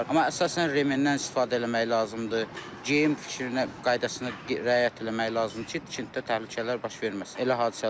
Amma əsasən remenndən istifadə eləmək lazımdır, geyim qaydasına riayət eləmək lazımdır ki, tikintidə təhlükələr baş verməsin.